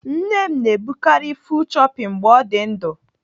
Nne m na-ebukarị 'full choppy" mgbe ọ dị ndu